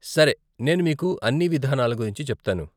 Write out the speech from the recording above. సరే నేను మీకు అన్ని విధానాల గురించి చెప్తాను.